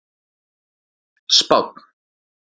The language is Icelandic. Spánn